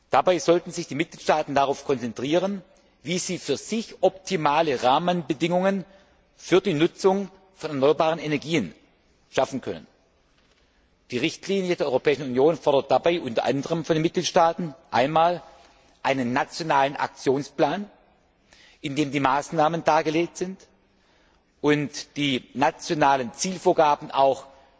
Dabei sollten sich die Mitgliedstaaten darauf konzentrieren, wie sie für sich optimale Rahmenbedingungen für die Nutzung von erneuerbaren Energien schaffen können. Die Richtlinie der Europäischen Union fordert dabei unter anderem von den Mitgliedstaaten einmal einen nationalen Aktionsplan, in dem die Maßnahmen dargelegt und die nationalen Zielvorgaben auch